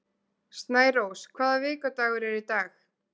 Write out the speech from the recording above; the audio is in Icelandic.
Snærós, hvaða vikudagur er í dag?